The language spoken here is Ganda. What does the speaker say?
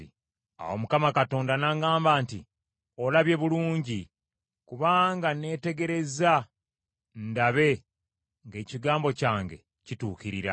Awo Mukama Katonda n’aŋŋamba nti, “Olabye bulungi, kubanga neetegereza ndabe ng’ekigambo kyange kituukirira.”